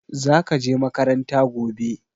Zaka je makaranta gobe